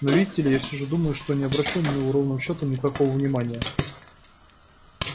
но видите ли я все же думаю что не обращу на него ровным счётом никакого внимания